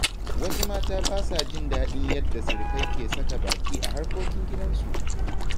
Wasu mata ba sa jin daɗin yadda sirikai ke sa baki a harkokin gidansu.